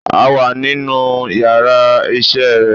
A wà nínú yàrá isé re